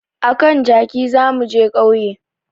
A kan jaki za mu je ƙauye